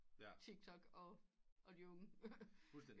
Tiktok og de unge